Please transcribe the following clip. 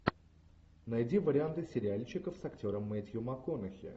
найди варианты сериальчиков с актером мэттью макконахи